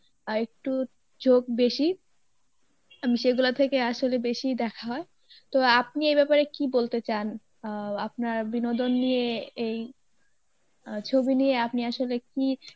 অ্যাঁ একটু ঝোক বেশি, আমি সেগুলা থেকে আসলে বেশি দেখা হয় তো আপনি এই ব্যাপারে কী বলতে চান আহ আপনার বিনোদন নিয়ে এই আহ ছবি নিয়ে আপনি আসলে কী